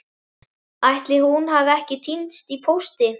Ætli hún hafi ekki týnst í pósti?